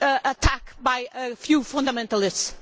attack by a few fundamentalists.